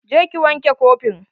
Je ki wanke kofin.